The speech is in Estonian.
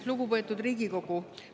Lugupeetud Riigikogu!